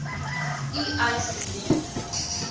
u eis indien